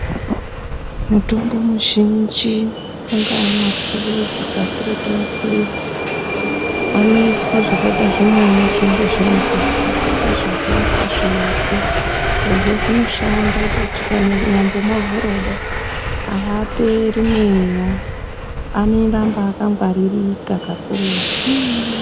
Mutombo muzhinji angaa mapilizi kakurutu mapilizi anoiswe zvakaita zvimunyu zvinenge zviri mukati tisazvobvisa zvirozvo zvirozvo zvinoshanda kuti tikanyambomavhura kudai aaperi mweya anoramba akangwaririka kakurutuu.